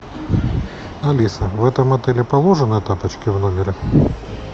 алиса в этом отеле положены тапочки в номере